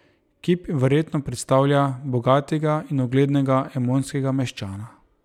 Kip verjetno predstavlja bogatega in uglednega emonskega meščana.